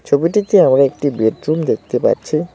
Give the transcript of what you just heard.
ছবিটিতে আমরা একটি বেডরুম দেখতে পাচ্ছি।